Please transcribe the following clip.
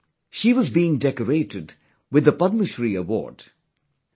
She was being decorated with the Padma Shri award ceremony